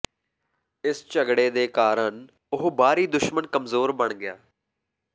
ਇਸ ਝਗੜੇ ਦੇ ਕਾਰਨ ਉਹ ਬਾਹਰੀ ਦੁਸ਼ਮਣ ਕਮਜ਼ੋਰ ਬਣ ਗਿਆ